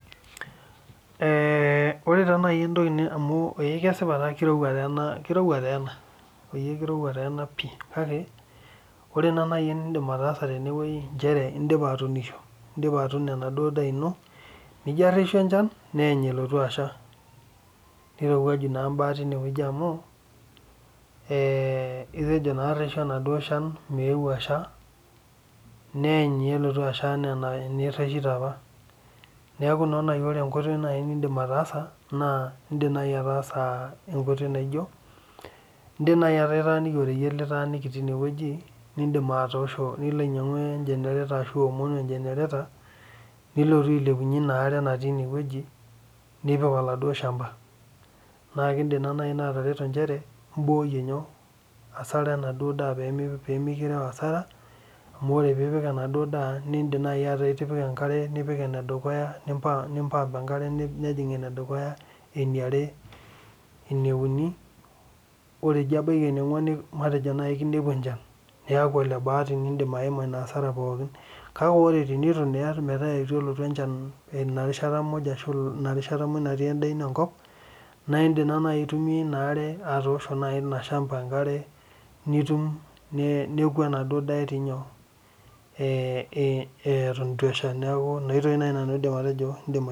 Ee ore taa nai entoki ni amu ee kesipa taa kirowua tee ena kirowua tee ena oyie kirowua tee ena pii kake ore naa nai eniindim ataasa tene wuei inchere indipa atuunisho, indipa atuuno enaduo daa ino, nijo areshu enchan neeny elotu asha nirowuaju naa mbaa tine wueji amu ee itejo naa areshu enaduo shan meeu asha neeny naa elotu asha naa enireshito apa. Neeku naa nai ore enkoitoi nai niindim ataasa naa iindim nai ataasa enkoitoi naijo, iindim nai ataa itaaniki oreyiet litaaniki iti ine wueji, niindim atoosho nilo ainyangu engenarator ashu iwomonu engenerator nilotu ailepunye ina are natii ine wueji nipik oladuo shamba naake kiindim naa nai ina atareto nchere imbooyie nyoo hasara enaduo daa pee mi pee mikireu hasara amu ore piipik enaduo daa niindim nai ataa itipika enkare, nipik ene dukuya nimpa nimpump enkare nejing' ene dukuya, eni are, ene uni, ore ijo ebaiki eniong'uan ni matejo nai kinepu enchan niaku ole baati niindim aima ina hasara pookin. Kake ore tenitu naa iar metaa itu elotu enchan ina rishata muj ashu ina rishata muuj natii endaa ino enkop naa iindim naa nai aitumia ina are atoosho nai ina shamba enkare nitum, neeku enaduo daa etii nyoo ee ee eton itu esha. Neeku ina oitoi nai nanu aidim atejo iindim ai